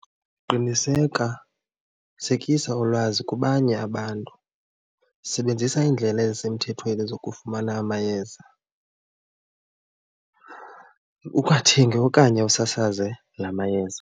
Qiniseka ulwazi kwabanye abantu, sebenzisa iindlela ezisemthethweni zokufumana amayeza, ungathengi okanye usasaze la mayeza.